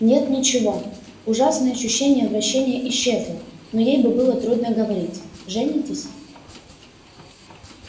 нет ничего ужасное ощущение вращения исчезло но ей бы было трудно говорить женитесь